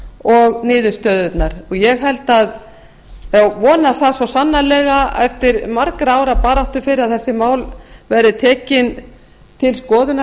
og niðurstöðurnar ég vona það svo sannarlega eftir margra ára baráttu fyrir að þessi mál verði tekin til skoðunar